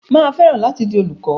Mà á fẹ́ràn láti di olùkọ.